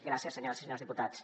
gràcies senyores i senyors diputats